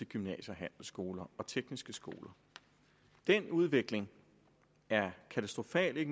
gymnasier handelsskoler og tekniske skoler den udvikling er katastrofal